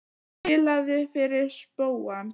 Ég spilaði fyrir spóann.